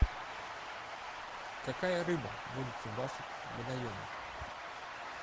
какая рыба водится в ваших водоемах